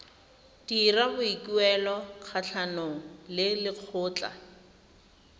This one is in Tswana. dira boikuelo kgatlhanong le lekgotlha